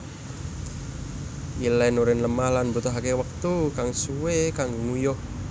Ilèn urin lemah lan mbutuhaké wektu kang suwé kanggo nguyuh